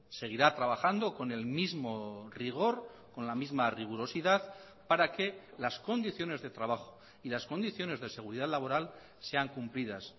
seguirá trabajando con el mismo rigor con la misma rigurosidad para que las condiciones de trabajo y las condiciones de seguridad laboral sean cumplidas